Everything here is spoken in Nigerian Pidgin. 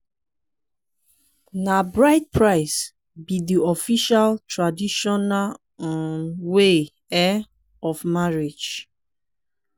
na bride price be de official traditional um way um of marriage.